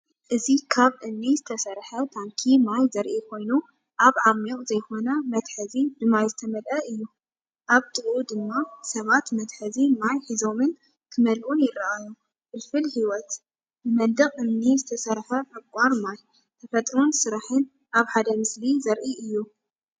እዚ ካብ እምኒ ዝተሰርሐ ታንኪ ማይ ዘርኢ ኮይኑ፡ኣብ ዓሚቝ ዘይኮነ መትሓዚ ብማይ ዝተመልአ እዩ። ኣብ ጥቓኡ ድማ ሰባት መትሓዚ ማይ ሒዞምን ክመልኡን ይረኣዩ። ፍልፍል ህይወት! ብመንደቕ እምኒ ዝተሰርሐ ዕቋር ማይ፡ ተፈጥሮን ስራሕን ኣብ ሓደ ምስሊ ዘርኢ እዩ።